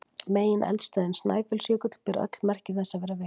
Megineldstöðin Snæfellsjökull ber öll merki þess að vera virk.